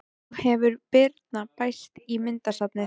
Nú hefur Birna bæst í myndasafnið.